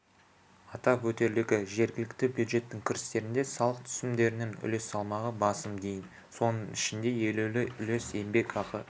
атап өтерлігі жергілікті бюджеттің кірістерінде салық түсімдерінің үлес салмағы басым дейін соның ішінде елеулі үлес еңбекақы